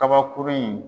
Kabakurun in